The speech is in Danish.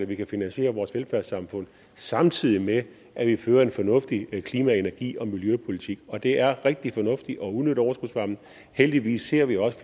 vi kan finansiere vores velfærdssamfund samtidig med at vi fører en fornuftig klima energi og miljøpolitik og det er rigtig fornuftigt at udnytte overskudsvarmen heldigvis ser vi også